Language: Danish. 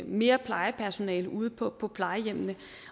mere plejepersonale ude på på plejehjemmene